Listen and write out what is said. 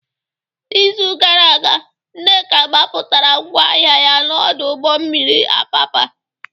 N'izu gara aga, Nneka gbapụtara ngwa ahịa ya n'ọdụ ụgbọ mmiri Apapa.